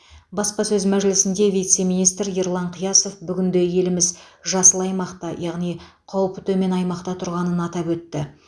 баспасөз мәжілісінде вице министр ерлан қиясов бүгінде еліміз жасыл аймақта яғни қаупі төмен аймақта тұрғанын атап өтті